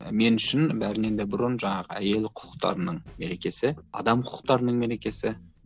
мен үшін бәрінен де бұрын жаңағы әйел құқықтарының мерекесі адам құқықтарының мерекесі